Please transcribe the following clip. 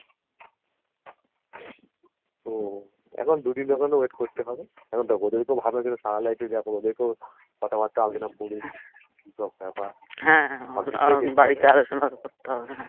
তো এখন দুদিনের মতো wait করতে হবে এখন দেখো যদি কেও ভাবে সারা life ই দেখো দেখ কথাবার্তা আলোচনা করে কিসব বেপার হ্যা উম বাড়িতে আলোচনা করতে হবে